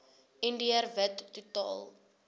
indiër wit totaal